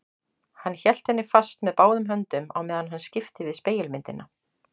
Hann hélt henni fast með báðum höndum á meðan hann skipti við spegilmyndina.